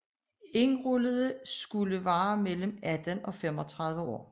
Indrullerede skulle være mellem 18 og 35 år